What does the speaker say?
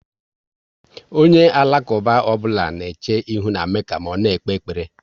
Onye Alakuba ọbụla na eche ihu na Mekka ma ọ na ekpe ekpere